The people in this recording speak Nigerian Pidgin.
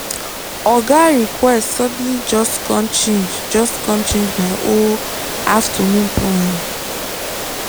oga request suddenly just com change just com change my whole afternoon plan.